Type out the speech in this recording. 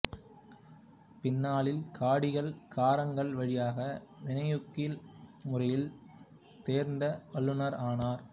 பின்னாளில் காடிகள் காரங்கள் வழியாக வினையூக்கி முறைகளில் தேர்ந்த வல்லுனர் ஆனார்